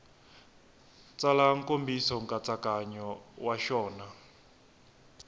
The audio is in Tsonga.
tsala nkomiso nkatsakanyo wa xona